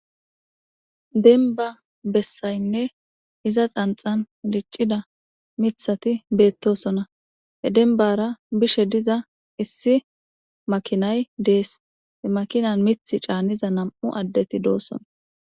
denba bessaynne iza xanxan diccida mithati beettosona he denbara bishe diza issi makinay dees e makinan mith caanniza nam7u addeti doosona